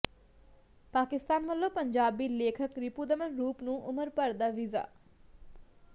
ਪਾਕਿਸਤਾਨ ਵਲੋਂ ਪੰਜਾਬੀ ਲੇਖਕ ਰਿਪੁਦਮਨ ਰੂਪ ਨੂੰ ਉਮਰ ਭਰ ਦਾ ਵੀਜ਼ਾ